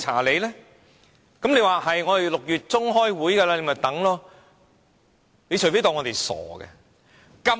你說會在6月中旬開會，不如再等一等吧。